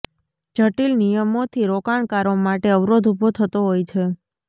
જટિલ નિયમોથી રોકાણકારો માટે અવરોધ ઊભો થતો હોય છે